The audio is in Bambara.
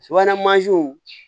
Subahana mansinw